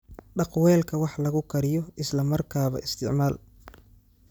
Dhaq weelka wax lagu kariyo isla markaaba isticmaal.